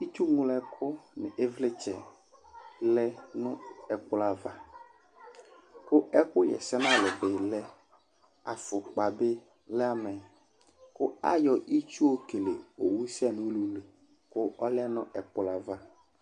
Itsuwu la kʋ ɩvlɩtsɛ lɛ nʋ ɛkplɔ ava kʋ ɛkʋɣa ɛsɛ nʋ alʋ bɩ lɛ Afʋkpa bɩ lɛ amɛ kʋ ayɔ itsu yɔkele owusɛnʋ ulu li kʋ ɔlɛ nʋ ɛkplɔ yɛ ava